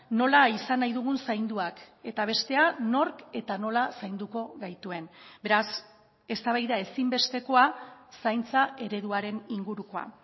nola izan nahi dugun zainduak eta bestea nork eta nola zainduko gaituen beraz eztabaida ezinbestekoa zaintza ereduaren ingurukoa